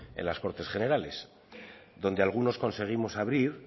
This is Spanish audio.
en las cortes generales donde algunos conseguimos abrir